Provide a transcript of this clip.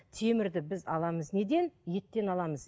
темірді біз аламыз неден еттен аламыз